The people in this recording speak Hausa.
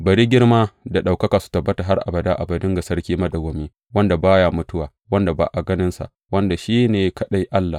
Bari girma da ɗaukaka su tabbata har abada abadin ga Sarki madawwami, wanda ba ya mutuwa, wanda ba a ganinsa, wanda kuma shi ne kaɗai Allah!